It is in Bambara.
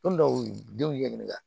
dɔw y'u denw ɲɛɲini